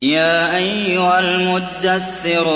يَا أَيُّهَا الْمُدَّثِّرُ